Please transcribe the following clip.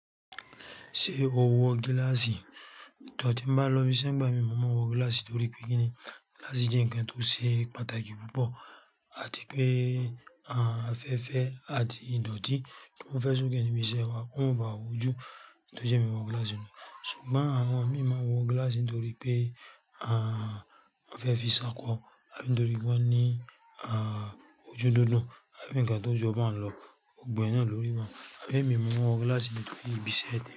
Ṣé o wọ gíláàsì? Ti n bá lọ ibiṣẹ́ ń bá mi, mo máa n wọ gíláàsì torí pé kíni gíláàsì jẹ́ ǹkan tó ṣe pàtàkì púpọ̀ àti pé afẹ́fẹ́ àti ìdọ̀tí tó fẹ́ sokẹ́ ni ibi iṣẹ́ wa kó bá ojú tó jẹ́ nkanbto je emi wọ gíláàsì náà. Ṣùgbọ́n àwọn imi máa wọ gíláàsì nítorí pé a ń fẹ́ fi ṣákọ̀ àbí nítorí wọ́n ní a ojú dúndùn àbí ǹkan tó jọ bá ń lọ, gbogbo ẹ̀ náà lórí Àbí èmi mo máa wọ gíláàsì nítorí ibi iṣẹ́ mi.